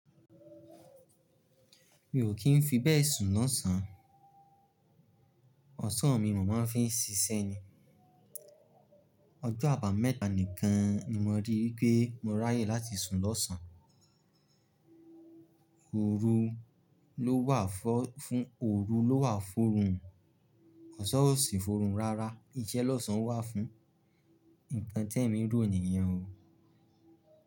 Mi ò kí ń fi bẹ́ẹ̀ sùn lọ́sàn, ọ̀sán mi ni mò máa ń fi ń ṣiṣẹ́ ni. Ọjọ́ àbámẹ́ta nìkan ni mo rí wipé mo ráyè láti sùn lọ́sàn. Òru ló wà fọ́ fún, òru ló wà f'orun. Ọ̀sán ó sì f'orun rárá, iṣẹ́ lọ́sàn wà fún. Nǹkan ti emi róò niyen o.